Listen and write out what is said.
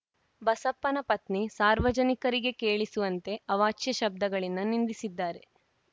ಬಸಪ್ಪನ ಪತ್ನಿ ಸಾರ್ವಜನಿಕರಿಗೆ ಕೇಳಿಸುವಂತೆ ಅವಾಚ್ಯ ಶಬ್ದಗಳಿಂದ ನಿಂದಿಸಿದ್ದಾರೆ